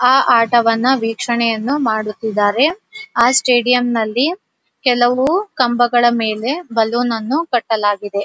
ಆಹ್ಹ್ ಆಟವನ್ನ ವೀಕ್ಷಣೆಯನ್ನ ಮಾಡುತ್ತಿದ್ದಾರೆ ಆಹ್ಹ್ ಸ್ಟೇಡಿಯಂ ಅಲ್ಲಿ ಕೆಲವು ಕಂಬಗಳ ಮೇಲೆ ಬಲೂನ್ ಅನ್ನು ಕಟ್ಟಲಾಗಿದೆ.